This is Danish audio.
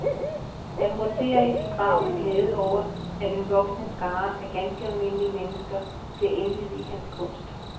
Han roterer i sin grav af glæde over, at en voksende skare af ganske almindelige mennesker bliver indviet i hans kunst.